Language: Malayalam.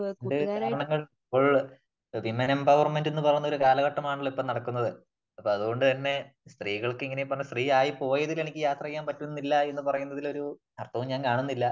രണ്ടു കാരണങ്ങളിപ്പോൾ വിമെൺ എംപോവര്മെന്റ എന്ന് പറഞ്ഞ കാലഘട്ടമാനല്ലോ ഇപ്പോൾ നടക്കുന്നത്. അപ്പം അതുകൊണ്ട് തന്നെ സ്ത്രീകൾക്ക് ഇങ്ങനെ സ്ത്രീയായി പോയതിൽ എനിക്ക് യാത്ര ചെയ്യാൻ പറ്റുന്നില്ല എന്ന് പറയുന്നതില് ഒരർഥവും ഞാൻ കാണുന്നില്ല .